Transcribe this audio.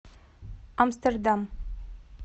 амстердам